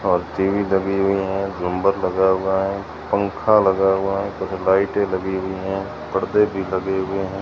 और टी_वी लगी हुईं हैं झुम्बर लगा हुआ हैं पंखा लगा हुआ हैं कुछ लाइटें लगी हुई हैं पर्दे भी लगे हुए हैं।